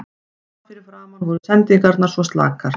Þar fyrir framan voru sendingarnar svo slakar.